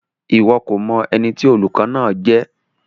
Iwọ ko mọ ẹni tí olùkọ náà jẹ?